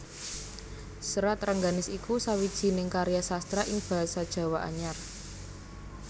Serat Rengganis iku sawijining karya sastra ing basa Jawa Anyar